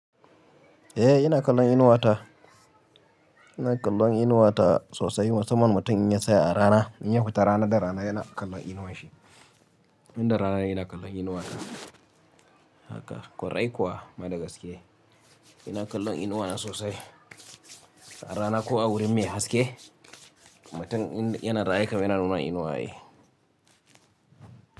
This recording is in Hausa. Eh ina kallon Inuwa ta. Ina kallon Inuwa ta sosai. Musamman mutum in ya tsaya a rana, in ya fita rana da rana yana kallon inuwan shi. Inda rana ne kallon inuwa ta haka. Korai kuwa, ma da gaske ina kallon inuwa na sosai. A rana ko a wurin me haske, mutum yana raye kam yana nuna inuwa ne.